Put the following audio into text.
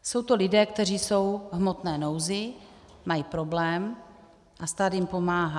Jsou to lidé, kteří jsou v hmotné nouzi, mají problém a stát jim pomáhá.